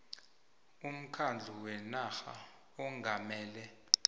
umkhandlu wenarha ongamele